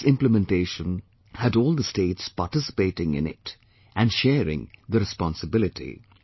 And this implementation has had all the states participating in it and sharing the responsibility